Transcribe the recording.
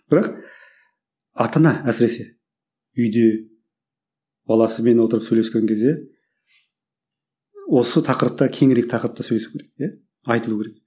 бірақ ата ана әсіресе үйде баласымен отырып сөйлескен кезде осы тақырыпта кеңірек тақырыпта сөйлесу керек те айтылу керек